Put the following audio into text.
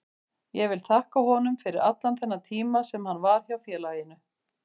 Ég vil þakka honum fyrir allan þennan tíma sem hann var hjá félaginu.